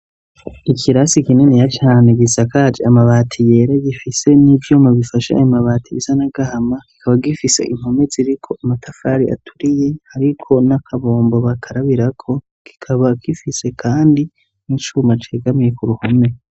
ikirasi kininiya cane gisakaje amabati yera. Gifise n'ivyuma bifashe amabati bisa n'agahama kikaba gifise impome ziriko amatafari aturiye, hariko n'akabombo bakarabirako. Kikaba gifise kandi n'icuma cegamiye ku ruhome.